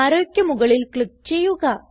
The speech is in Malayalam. arrowക്ക് മുകളിൽ ക്ലിക്ക് ചെയ്യുക